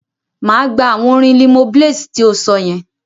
Máa gbà awọn orin Limoblaze ti o sọ yẹn.